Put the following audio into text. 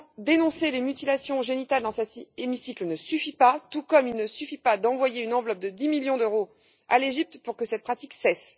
Dénoncer les mutilations génitales en cet hémicycle ne suffit pas, tout comme il ne suffit pas d'envoyer une enveloppe de dix millions d'euros à l'Égypte pour que cette pratique cesse.